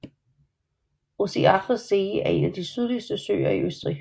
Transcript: Ossiacher See er en af de sydligste søer i Østrig